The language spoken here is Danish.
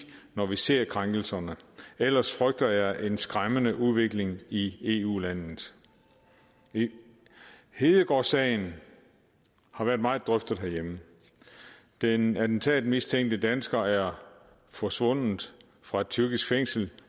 når vi ser krænkelserne ellers frygter jeg en skræmmende udvikling i eu landet hedegaardsagen har været meget drøftet herhjemme den attentatmistænkte dansker er forsvundet fra et tyrkisk fængsel